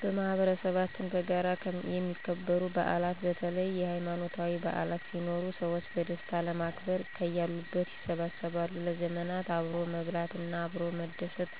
በማህበረሰባችን በጋራ የሚከበሩ በዓላት በተለይ ሀይማኖታዊ በዓላት ሲኖሩ ሰዎች በደስታ ለማክበር ከያሉበት ይሰበሰባሉ። ለዘመናት አብሮ መብላት እና አብሮ መደስት